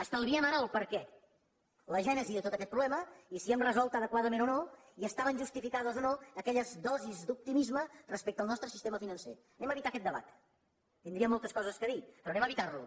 estalviem ara el perquè la gènesi de tot aquest problema i si hem resolt adequadament o no i estaven justificades o no aquelles dosis d’optimisme respecte al nostre sistema financer evitem aquest debat tindríem moltes coses a dir però evitem lo